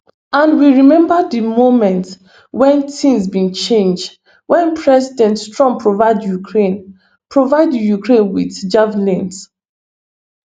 and we remember di moment wen tins bin change wen president trump provide ukraine provide ukraine with javelins